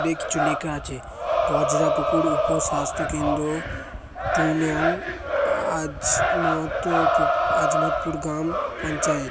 অনেক কিছু লেখা আছে। বজ্রাপুকুর উপ-স্বাস্থ্য কেন্দ্র টু নং আজমতপু আজমতপুর গ্রাম পঞ্চায়েত।